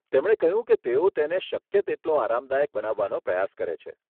તેમણે કહ્યું કે તેઓ તેને શક્ય તેટલું આરામદાયક બનાવવાનો પ્રયાસ કરે છે.